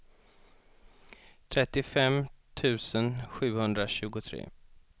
trettiofem tusen sjuhundratjugotre